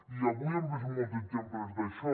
i avui hem vist molts exemples d’això